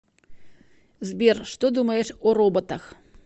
сбер что думаешь о роботах